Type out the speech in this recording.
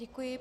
Děkuji.